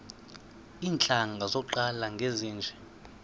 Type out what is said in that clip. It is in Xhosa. iintlanga zaqala ngezinje